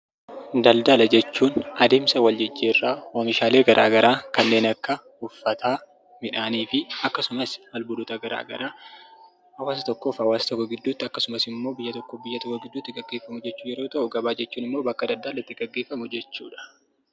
Daldala jechuun adeemsa wal jijjiirraa, oomishaalee garagaraa kanneen akka uffataa, midhaanii fi akkasumas albuudota garagaraa hawaasa tokkoof hawaasa tokko gidduutti yookisimmoo biyya tokkoof biyya tokko gidduutti kan gaggeefamu jechuu yeroo ta'u, gabaa jechuunimmoo bakka daldaalli itti gaggeefamu jechudha.